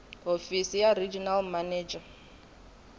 hofisi ya regional manager eka